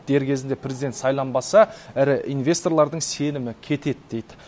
дер кезінде президент сайланбаса ірі инвесторлардың сенімі кетеді дейді